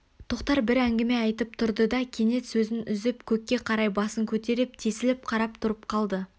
тоқтар бір әңгіме айтып тұрды да кенет сөзін үзіп көкке қарай басын көтеріп тесіліп қарап тұрып қалды